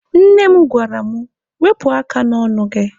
Nne m gwara mụ, Wepụ aka n'ọnụ gị!